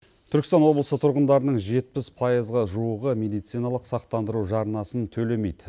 түркістан облысы тұрғындарының жетпіс пайызға жуығы медициналық сақтандыру жарнасын төлемейді